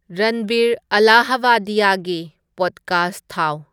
ꯔꯟꯚꯤꯔ ꯑꯂꯍꯕꯗꯤꯌꯥꯒꯤ ꯄꯣꯗꯀꯥꯁ꯭ꯠ ꯊꯥꯎ